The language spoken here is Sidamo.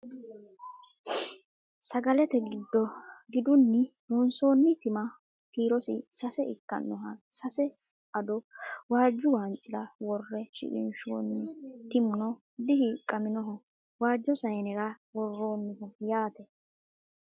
Sagalete giddo gidunni loonsoonni timma kiirosi sase ikkannoha sase ado waajju waancira worre shiqinshoonni timuno dihiiqqaminoho waajjo sayiinera worroonniho yaate